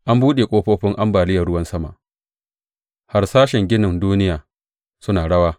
An buɗe ƙofofin ambaliyar ruwan sama, harsashen ginin duniya suna rawa.